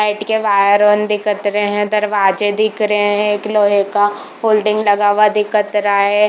Flight के वायरअन दिखत रहै दरवाजे दिख रहै है एक लोहै का होल्डिंग लगा हुआ दिखत रा है।